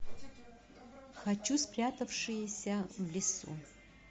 хочу спрятавшиеся в лесу